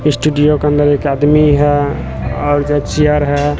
Studio के अंदर एक आदमी है और इधर चेयर है।